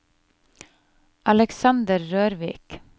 Alexander Rørvik